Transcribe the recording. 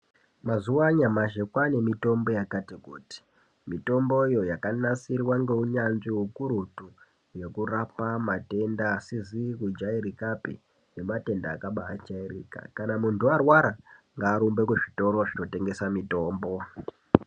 Mazuva anyamashi kwane mitombo yakati kuti, mitomboyo yakanasirwa ngeunyanzvi hukurutu yekurapwa matenda asizi kujairikapi nematenda akabajairika. Kana muntu arwara ngarumbe kuzvitoro zvinotengesa mitombo.